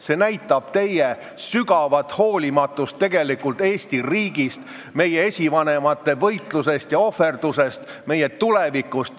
See näitab tegelikult teie sügavat hoolimatust Eesti riigi vastu, meie esivanemate võitluse ja ohverduse vastu, meie tuleviku vastu.